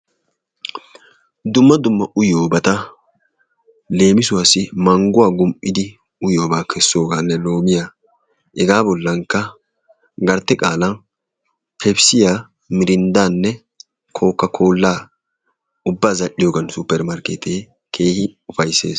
Dumma dumma uyyiyooobata leemisuwassi mangguwaa gum''idi uyyiyobaa kessooganne loomiya, hega bolankkaa gartte qaala pepissiyaa, mirinddanne kokakoola ubba zal''iyooga suppermerkette keehin ufayssees.